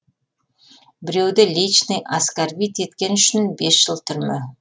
біреуді личный аскарбит еткен үшін бес жыл түрме